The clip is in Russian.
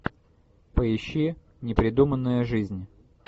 поищи непридуманная жизнь